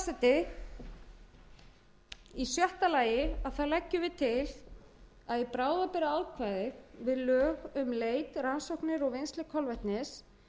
forseti í sjötta lagi leggur meiri hlutinn til að í bráðabirgðaákvæði við lög um leit rannsóknir og vinnslu kolvetnis